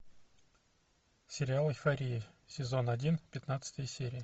сериал эйфория сезон один пятнадцатая серия